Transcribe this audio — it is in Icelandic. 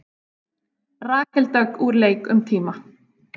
Rakel Dögg úr leik um tíma